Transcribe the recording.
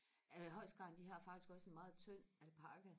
øh holst garn de har faktisk også en meget tynd alpaca